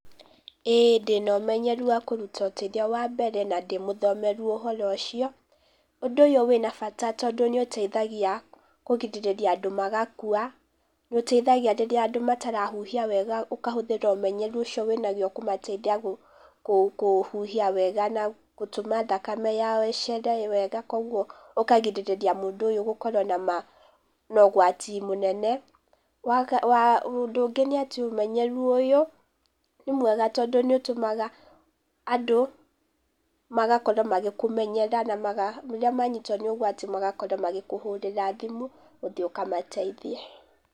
ĩĩ ndĩna ũmenyeru wa kũruta ũteithio wa mbere, na ndĩ mũthomeru ũhoro ũcio, ũndũ ũyũ wĩna bata tondũ nĩ ũteithagia kũgirĩrĩria andũ magakua, nĩ ũteithagia rĩrĩa andũ matarahuhia wega ũkahũthĩra ũmenyeru ücio wĩ naguo ũkamateithia kũhuhia wega, na gũtũma thakame yao ĩcere wega koguo ũkagirĩrĩria mũndũ ũyũ gũkorwo na ũgwati mũnene. Ũndũ ũngĩ nĩ atĩ ũmenyeru ũyũ nĩ mwega tondũ nĩũtũmaga andũ magakorwo magĩkũmenyera na maga rĩria manyitwo nĩ ũgwati magakorwo magĩkũhũrĩra thimũ ũthiĩ ũkamateithie